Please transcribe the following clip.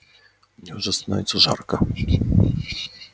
мне уже становится жарко